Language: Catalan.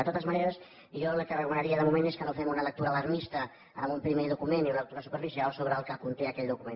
de totes maneres jo el que recomanaria de moment és que no fem una lectura alarmista d’un primer document i una lectura superficial del que conté aquell document